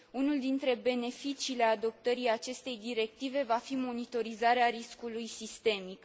Unul dintre beneficiile adoptării acestei directive va fi monitorizarea riscului sistemic.